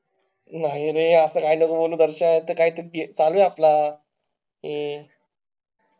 नाही रे असं काही नको बोलू दरश्या, ते काई तरी चालू आपला